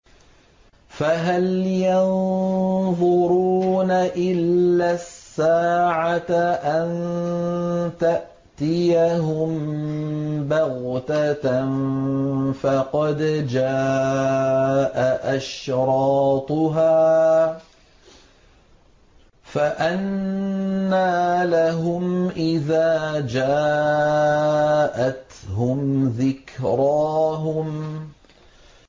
فَهَلْ يَنظُرُونَ إِلَّا السَّاعَةَ أَن تَأْتِيَهُم بَغْتَةً ۖ فَقَدْ جَاءَ أَشْرَاطُهَا ۚ فَأَنَّىٰ لَهُمْ إِذَا جَاءَتْهُمْ ذِكْرَاهُمْ